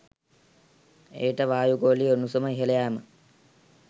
එයට වායු ගෝලීය උණුසුම ඉහළ යෑම